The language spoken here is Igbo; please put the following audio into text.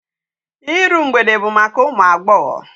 Iru mgbede bụ maka ụmụ agbọghọ.